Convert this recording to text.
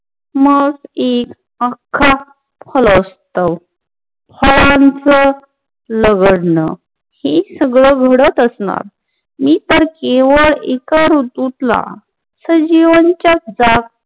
मग एक अख्खा फळांचं लगडन हे सगळं घडत असणार मी पण केवळ एका ऋतूतला सजीवांच्या